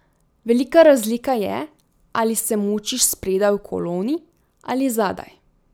Velika razlika je, ali se mučiš spredaj v koloni ali zadaj.